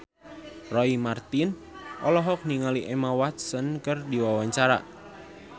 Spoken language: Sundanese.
Roy Marten olohok ningali Emma Watson keur diwawancara